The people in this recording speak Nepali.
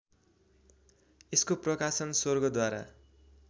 यसको प्रकाशन स्वर्गद्वार